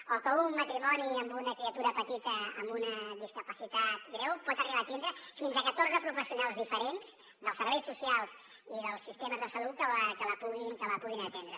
o que un matrimoni amb una criatura petita amb una discapacitat greu pot arribar a tindre fins a catorze professionals diferents dels serveis socials i dels sistemes de salut que la puguin atendre